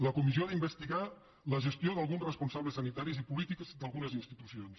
la comissió ha d’investigar la gestió d’alguns responsables sanitaris i polítics d’algunes institucions